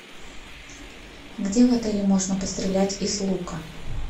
где в отеле можно пострелять из лука